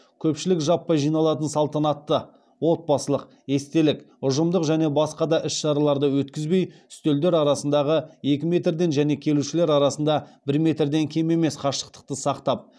көпшілік жаппай жиналатын салтанатты отбасылық естелік ұжымдық және басқа да іс шараларды өткізбей үстелдер арасындағы екі метрден және келушілер арасында бір метрден кем емес қашықтықты сақтап